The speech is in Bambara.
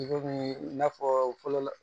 Degun ye i n'a fɔ fɔlɔ